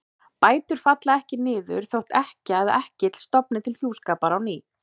Bætur falla ekki niður þótt ekkja eða ekkill stofni til hjúskapar á ný.